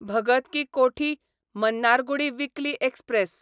Bhagat ki Kothi Mannargudi weekly express